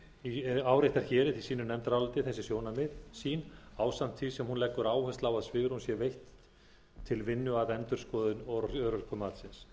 í sínu nefndaráliti þessi sjónarmið sín ásamt því sem hún leggur áherslu á að svigrúm sé veitt til vinnu að endurskoðun og örorkumat